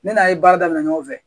Ne n'a ye baara daminɛ ɲɔgɔn fɛ